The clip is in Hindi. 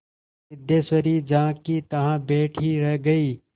सिद्धेश्वरी जहाँकीतहाँ बैठी ही रह गई